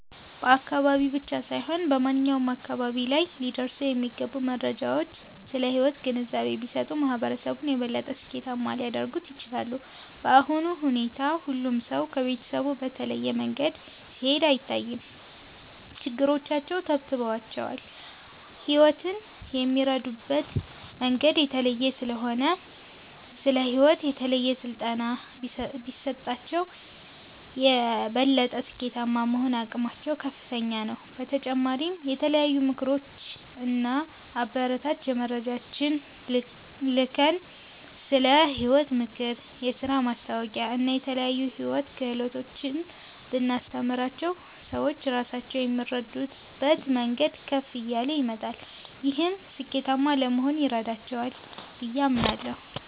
በአካባቢ ብቻ ሳይሆን በማንኛውም አካባቢ ላይ ሊደርሱ የሚገቡ መረጃዎች ስለ ሕይወት ግንዛቤ ቢሰጡ፣ ማህበረሰቡን የበለጠ ስኬታማ ሊያደርጉት ይችላሉ። በአሁኑ ሁኔታ ሁሉም ሰው ከቤተሰቡ በተለየ መንገድ ሲሄድ አይታይም፤ ችግሮቻቸው ተብትበዋቸዋል። ሕይወትን የሚረዱበት መንገድ የተለየ ስለሆነ፣ ስለ ሕይወት የተለየ ስልጠና ቢሰጣቸው፣ የበለጠ ስኬታማ የመሆን አቅማቸው ከፍተኛ ነው። በተጨማሪም የተለያዩ ምክሮች እና አበረታች መረጃዎችን ልከን፣ ስለ ሕይወት ምክር፣ የሥራ ማስታወቂያዎችን እና የተለያዩ የሕይወት ክህሎቶችን ብናስተምራቸው፣ ሰዎች ራሳቸውን የሚረዱበት መንገድ ከፍ እያለ ይመጣል። ይህም ስኬታማ ለመሆን ይረዳቸዋል ብዬ አምናለሁ።